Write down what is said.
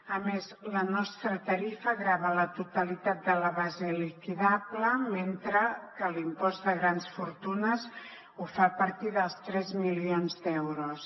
a més la nostra tarifa grava la totalitat de la base liquidable mentre que l’impost de grans fortunes ho fa a partir dels tres milions d’euros